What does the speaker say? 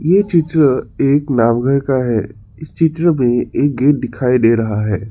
ये चित्र एक नाव घर का है इस चित्र में एक गेट दिखाई दे रहा है।